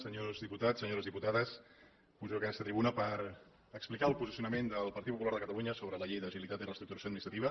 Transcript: senyors diputats senyores diputades pujo a aquesta tribuna per explicar el posicionament del partit popular de catalunya sobre la llei d’agilitat i reestructuració administrativa